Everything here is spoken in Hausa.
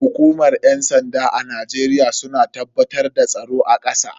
Hukumar yan sanda a Najeriya suna tabbatar da tsaro a kasa.